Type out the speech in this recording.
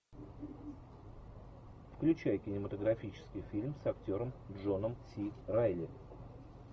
включай кинематографический фильм с актером джоном си райли